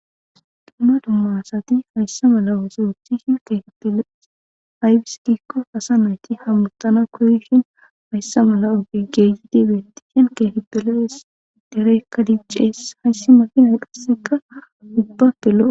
Dumma duma asathi hayssa mala ooso ooththishin keehipe lo7es; ayssi giikko asa na7ithi hamoththana koyishin hayssa mala ogee keehidi hemeththin keehippe lo7ees; dereekka diccees; hayssi makiinay qassikka ubbappe lo7o.